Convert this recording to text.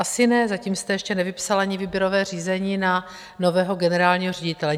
Asi ne, zatím jste ještě nevypsal ani výběrové řízení na nového generálního ředitele.